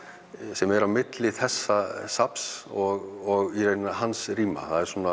sem er á milli þessa safns og í raun hans rýma